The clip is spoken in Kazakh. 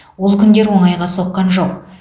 ол күндер оңайға соққан жоқ